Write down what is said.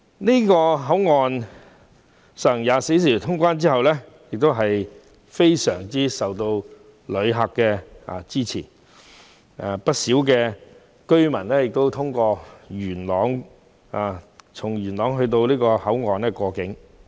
旅客均十分支持皇崗口岸24小時通關的措施，不少本港居民從元朗前往皇崗口岸過境。